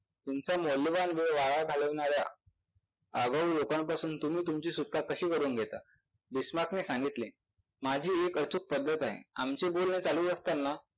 तुमचा मौल्यवान वेळ वाया घालवणाऱ्या आगाऊ लोकांपासून तुम्ही तूची सुटका कशी करून घेता? बिश्नात्ने सांगितले माझी एक अशी पद्धत आहे आमची बोलणी चालू असताना